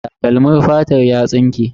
Takalmin fatar ya tsinke.